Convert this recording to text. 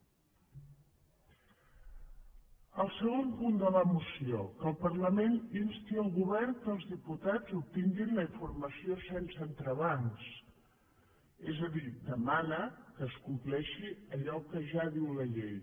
el segon punt de la moció que el parlament insti el govern que els diputats obtinguin la informació sense entrebancs és a dir demana que es compleixi allò que ja diu la llei